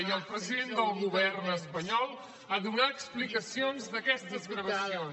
i el president del govern espanyol a donar explicacions d’aquestes gravacions